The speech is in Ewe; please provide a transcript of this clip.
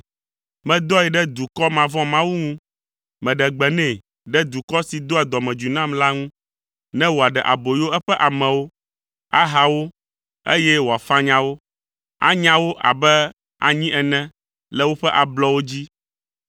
Medɔe ɖe dukɔ mavɔ̃mawu ŋu, meɖe gbe nɛ ɖe dukɔ si doa dɔmedzoe nam la ŋu, ne wòaɖe aboyo eƒe amewo, aha wo, eye wòafanya wo, anya wo abe anyi ene le woƒe ablɔwo dzi.